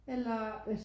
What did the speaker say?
Eller